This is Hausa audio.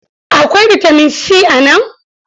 Akwai bitamin si a nan?